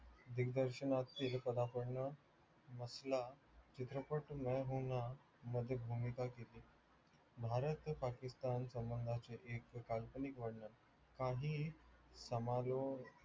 दिग्दर्शनाचे हे पदापर्ण मसला चित्रपट में हु ना मध्ये भूमिका केली. भारत पाकिस्कतान संबंधांचे एक काल्पनिक वर्णन काहीही